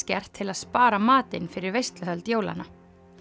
gert til að spara matinn fyrir veisluhöld jólanna